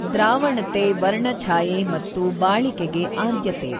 ದ್ರಾವಣತೆ ವರ್ಣಛಾಯೆ ಮತ್ತು ಬಾಳಿಕೆಗೆ ಆದ್ಯತೆ.